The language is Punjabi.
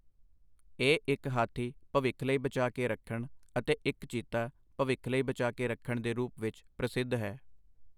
ਇਹ ਇੱਕ ਹਾਥੀ ਅਤੇ ਇੱਕ ਚੀਤਾ ਭਵਿੱਖ ਲਈ ਬਚਾਅ ਕੇ ਰੱਖਣ ਦੇ ਰੂਪ ਵਿੱਚ ਪ੍ਰਸਿੱਧ ਹੈ।